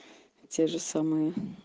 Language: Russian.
те же самые